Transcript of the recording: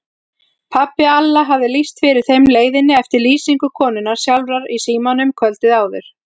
Pabbi Alla hafði lýst fyrir þeim leiðinni eftir lýsingu konunnar sjálfrar í símanum kvöldið áður.